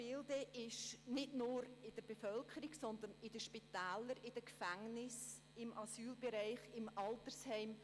Dieses ist nicht nur in der Bevölkerung noch vorhanden, sondern auch in den Spitälern, den Gefängnissen, im Asylbereich und im Altersheim.